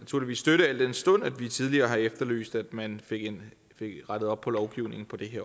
støtte al den stund at vi tidligere har efterlyst at man fik rettet op på lovgivningen på det her